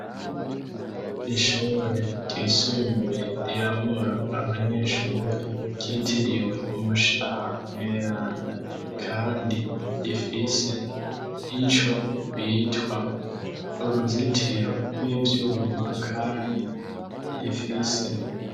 ishure ryisumbuye riramura abamyeshure ryitiriwe umushaha nueranda kandi rifise ico bitwa uruzitiro rw'ibyuma kandi rifise